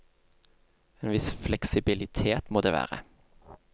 En viss fleksibilitet må det være.